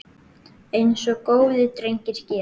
Eins og góðir drengir gera.